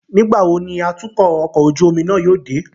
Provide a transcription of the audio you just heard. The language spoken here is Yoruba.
Nigbawo ni atukọ ọkọ ojú omi náà yóò de?